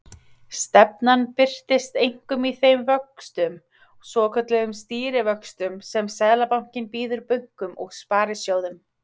Stefnan birtist einkum í þeim vöxtum, svokölluðum stýrivöxtum, sem Seðlabankinn býður bönkum og sparisjóðum.